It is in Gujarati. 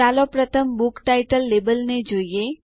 ચાલો પ્રથમ બુક ટાઇટલ લેબલ ને જોઈએ